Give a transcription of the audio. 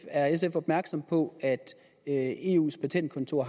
er sf opmærksom på at eus patentkontor